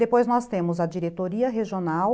Depois nós temos a Diretoria Regional,